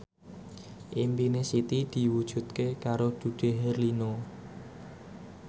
impine Siti diwujudke karo Dude Herlino